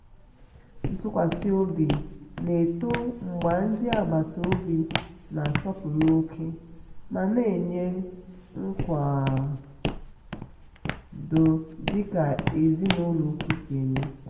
ntụkwasị obi na-eto mgbe ndị mgbe ndị agbata obi na-asọpụrụ ókè ma na-enye nkwado dika ezinulọ ùkwù si eme.